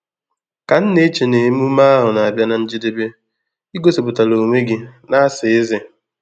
Ka m na-eche na emume ahụ n'abia na njedebe, i gosipụtara onwe gị na-asa eze.